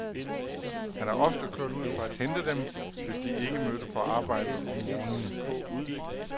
Han er ofte kørt ud for at hente dem, hvis de ikke mødte på arbejdet om morgenen.